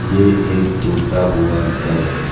ये एक टूटा हुआ घर है।